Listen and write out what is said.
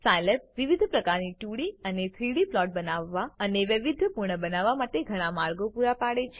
Scilab વિવિધ પ્રકારના 2ડી અને 3ડી પ્લોટ બનાવવા અને વૈવિધ્યપૂર્ણ બનાવવા માટેના ઘણા માર્ગો પૂરા પાડે છે